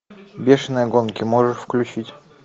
бешеные гонки можешь включить